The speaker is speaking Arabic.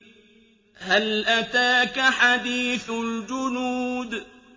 هَلْ أَتَاكَ حَدِيثُ الْجُنُودِ